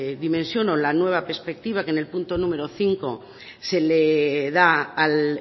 dimensión o la nueva perspectiva que en el número cinco se le da al